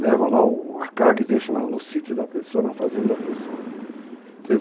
Levo lá a carga e deixo no sítio da pessoa, na fazenda da pessoa.